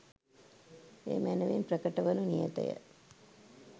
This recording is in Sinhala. එය මැනවින් ප්‍රකට වනු නියතය.